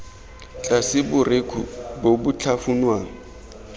tlase borekhu bo bo tlhafunwang